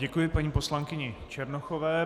Děkuji paní poslankyni Černochové.